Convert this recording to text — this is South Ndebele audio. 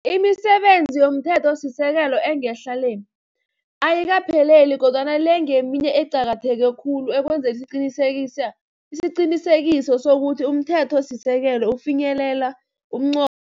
Imisebenzi yomthethosisekelo engehla le, ayikaphelele kodwana le ngeminye eqakatheke khulu ekwenzeni isiqiniseko sokuthi umthethosisekelo ufinyelela umnqo